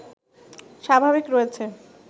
স্বাভাবিক রয়েছে